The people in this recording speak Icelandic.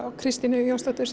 og Kristínu Jónsdóttur